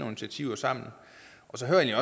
initiativer sammen så hører jeg